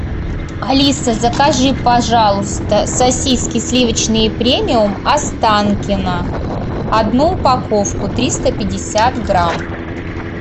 алиса закажи пожалуйста сосиски сливочные премиум останкино одну упаковку триста пятьдесят грамм